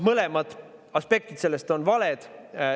Mõlemad aspektid on valed.